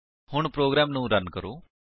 ਹੁਣ ਪ੍ਰੋਗਰਾਮ ਨੂੰ ਰਨ ਕਰੋ